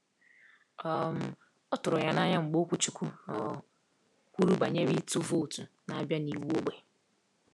um Ọ tụrụ ya n’anya mgbe okwuchukwu um kwuru banyere ịtụ vootu na-abịa na iwu ógbè.